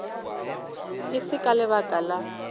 e se ka lebaka la